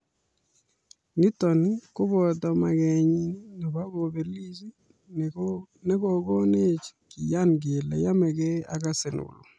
Nito koboto maketnyi nebo kobelis nekokonech keyan kele yomegei Arsenal."